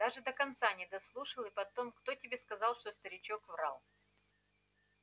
даже до конца не дослушал и потом кто тебе сказал что старичок врал